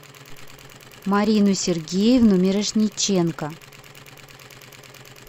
марину сергеевну мирошниченко